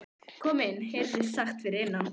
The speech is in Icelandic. Kom inn, heyrðist sagt fyrir innan.